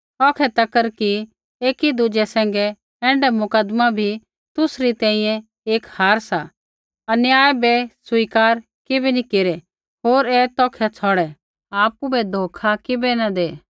औखै तक कि एकी दुज़ै सैंघै ऐण्ढा मुकदमा भी तुसरी तैंईंयैं एक हार सा अन्याय बै स्वीकार किबै नैंई केरै होर ऐ तौखै छ़ौड़ै आपु बै धोखा किबै नी दै